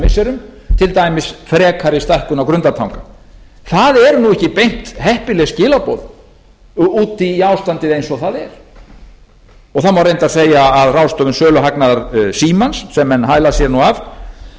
missirum til dæmis frekari stækkun á grundartanga það eru ekki beint heppileg skilaboð út í ástandið eins og það er og það má reyndar segja að ráðstöfun söluhagnaðar símans sem menn hæla sér af